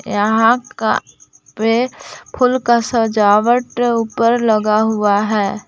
यहा का पे फूल का सजावट ऊपर लगा हुआ है।